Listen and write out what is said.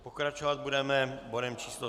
Pokračovat budeme bodem číslo